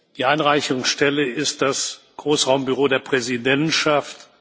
Die Einreichungsstelle ist das Großraumbüro der Präsidentschaft.